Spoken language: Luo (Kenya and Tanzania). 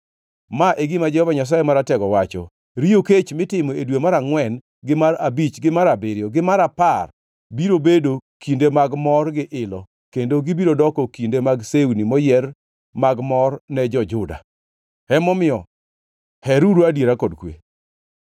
Ma e gima Jehova Nyasaye Maratego wacho: “Riyo kech mitimo e dwe mar angʼwen, gi mar abich, gi mar abiriyo, gi mar apar biro bedo kinde mag mor gi ilo kendo gibiro doko kinde mag sewni moyier mag mor ne jo-Juda. Emomiyo heruru adiera kod kwe.”